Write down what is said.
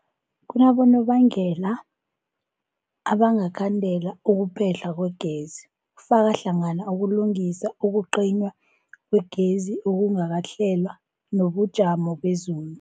Kunabonobangela abangakhandela ukuphehlwa kwegezi, kufaka hlangana ukulungisa, ukucinywa kwegezi okungakahlelwa, nobujamo bezulu.